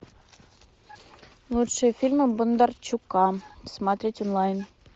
лучшие фильмы бондарчука смотреть онлайн